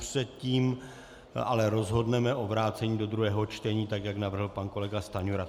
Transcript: Předtím ale rozhodneme o vrácení do druhého čtení, tak jak navrhl pan kolega Stanjura.